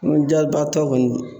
Kɔnɔja ba tɔ kɔni